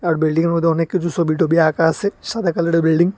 আর বিল্ডিংয়ের মধ্যে অনেক কিছু ছবি-টবি আঁকা আছে সাদা কালারের বিল্ডিং ।